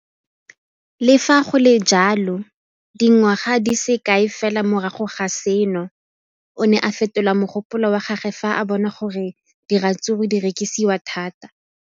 Le fa go le jalo, dingwaga di se kae fela morago ga seno, o ne a fetola mogopolo wa gagwe fa a bona gore diratsuru di rekisiwa thata.